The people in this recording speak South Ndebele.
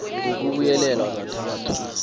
b ngokubuyelelwe kathathu